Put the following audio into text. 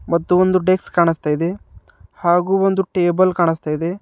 ಮತ್ತು ಒಂದು ಡೆಕ್ಸ್ ಕಾಣಸ್ತಾ ಇದೆ ಹಾಗು ಒಂದು ಟೇಬಲ್ ಕಾಣಸ್ತಾ ಇದೆ.